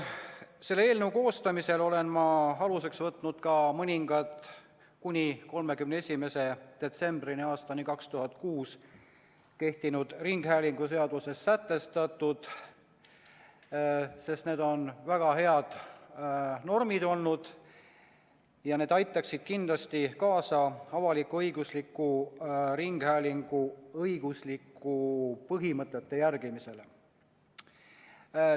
Selle eelnõu koostamisel olen ma aluseks võtnud mõningad 31. detsembrini 2006 kehtinud ringhäälinguseaduses sätestatud normid, sest need olid väga head normid ja need aitaksid kindlasti kaasa avalik-õigusliku ringhäälingu õiguslike põhimõtete järgimisele.